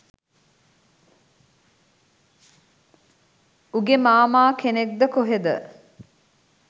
උගේ මාමා කෙනෙක්ද කොහෙද